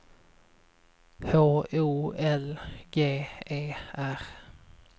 H O L G E R